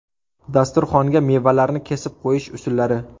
Dasturxonga mevalarni kesib qo‘yish usullari .